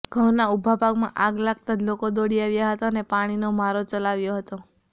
ઘંઉના ઉભા પાકમાં આગ લાગતાં જ લોકો દોડી આવ્યા હતા અને પાણીનો મારો ચલાવ્યો હતો